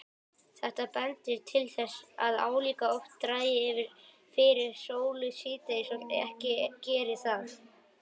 Þetta bendir til þess að álíka oft dragi fyrir sólu síðdegis og ekki geri það.